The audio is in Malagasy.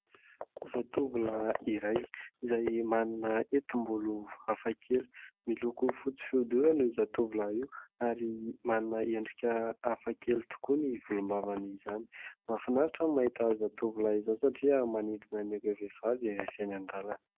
Zatovolahy iray izay manana hetimbolo hafa kely, miloko fotsy fihodirana io zatovolahy io ary manana endrika hafa kely tokoa ny volombavany izany; mahafinaritra ny mahita izao tovolahy izao satria manintona an' ireo vehivavy rehefa eny an-dalana.